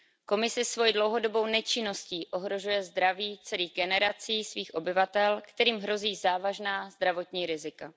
Komise svoji dlouhodobou nečinností ohrožuje zdraví celých generací svých obyvatel, kterým hrozí závažná zdravotní rizika.